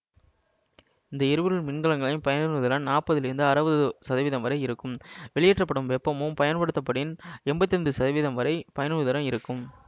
இந்த எரிபொருள் மின்கலன்களின் பயனுறுதிறன் நாற்பதிலிருந்து அறுபது சதவிதம் வரை இருக்கும் வெளியேற்றப்படும் வெப்பமும் பயன்படுத்தப்படின் எம்பத்தி ஐந்து சதவிதம் வரை பயனுறுதிறன் இருக்கும்